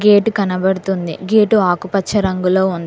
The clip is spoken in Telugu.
గేటు కనబడుతుంది గేటు ఆకుపచ్చ రంగులో ఉం--